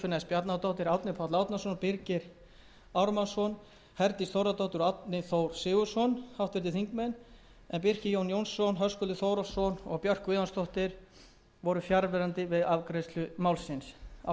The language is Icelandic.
bjarnadóttir árni páll árnason birgir ármannsson herdís þórðardóttir og árni þór sigurðsson háttvirtur þingmaður birkir j jónsson höskuldur þórhallsson og björk guðjónsdóttir voru fjarverandi við afgreiðslu málsins ég tel þetta jákvætt spor sem við erum